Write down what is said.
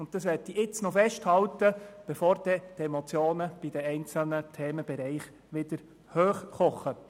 Das möchte ich an dieser Stelle festhalten, bevor die Emotionen bei den einzelnen Themenbereichen wieder hochkochen.